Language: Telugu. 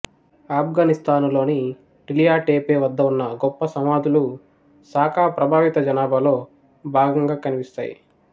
ఆఫ్ఘనిస్తానులోని టిలియా టేపే వద్ద ఉన్న గొప్ప సమాధులు సాకా ప్రభావిత జనాభాలో భాగంగా కనిపిస్తాయి